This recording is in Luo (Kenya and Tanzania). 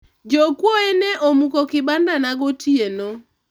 jokuoye ne omuko kibanda na gotieno